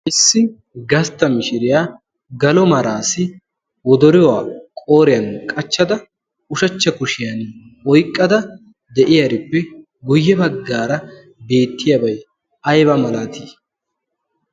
ayssi gastta mishiriyaa galo maraasi wodoriwaa qooriyan qachchada ushachcha kushiyan oiqqada de'iyaarippe guyye baggaara beettiyaabay ayba malaatii?